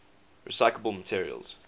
recyclable materials